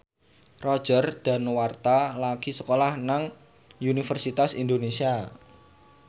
Roger Danuarta lagi sekolah nang Universitas Indonesia